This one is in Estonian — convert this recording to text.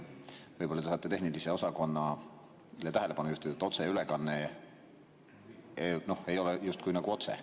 Võib-olla te tahate tehnilise osakonna tähelepanu juhtida sellele, et otseülekanne ei ole justkui otse.